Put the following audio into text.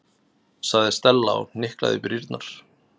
sagði Stella og hnyklaði brýnnar.